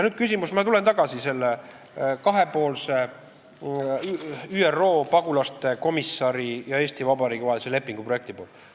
Nüüd ma tulen tagasi selle ÜRO pagulasasjade komissari ja Eesti Vabariigi vahelise kahepoolse lepingu projekti juurde.